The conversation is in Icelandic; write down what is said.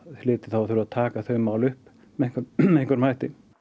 hlyti að þurfa að taka þau mál upp með einhverjum hætti